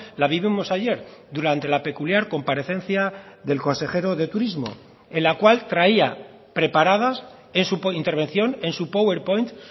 la vivimos ayer durante la peculiar comparecencia del consejero de turismo en la cual traía preparadas en su intervención en su power point